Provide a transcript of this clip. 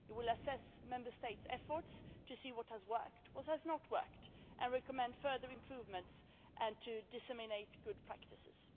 We will assess Member States' efforts to see what has worked and what has not, to recommend further improvements and to disseminate good practices.